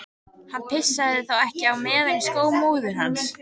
Hann pissaði þá ekki á meðan í skó móður hans.